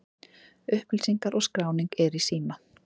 Upplýsingar og skráning er í síma.